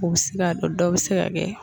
U bɛ se ka don dɔw bɛ se ka kɛ